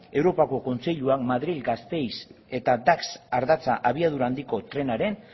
europako kontseiluan madril gasteiz eta dax ardatza abiadura handiko trenaren